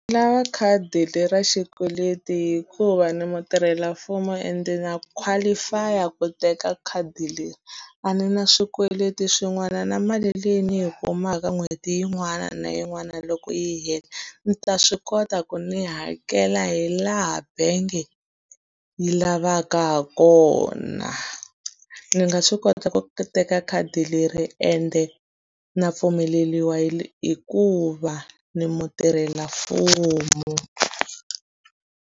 Ni lava khadi ra xikweleti hikuva ni mutirhelamfumo ende na qualify-a ku teka khadi leri. A ni na swikweleti swin'wana na mali leyi ni yi kumaka n'hweti yin'wana na yin'wana loko yi hela, ndzi ta swi kota ku ni hakela hi laha bangi yi lavaka ha kona. Ni nga swi kota ku teka khadi leri ende na pfumeleriwa hikuva ni mutirhelamfumo.